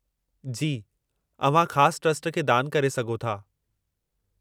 जी, अव्हां ख़ासि ट्रस्ट खे दान करे सघां थो।